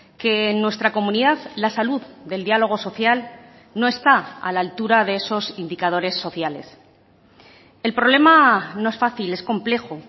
que en nuestra comunidad la salud del diálogo social no está a la altura de esos indicadores sociales el problema no es fácil es complejo